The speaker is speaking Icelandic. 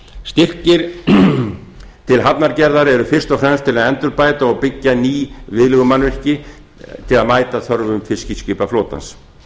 styrkir til hafnargerðar eru fyrst og fremst til að endurbæta og byggja ný viðlegumannvirki til að mæta þörfum fiskiskipaflotans